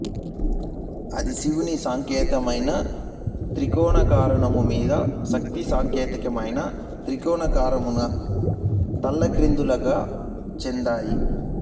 ఆది శివుని సంకేతమైన త్రికోణాకారము మీద శాక్తి సంకేతమైన త్రికోణాకారమును తలక్రిందులుగా ఉంచెదరు